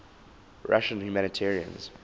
russian humanitarians